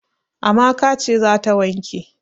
Amaka ce za ta wanke.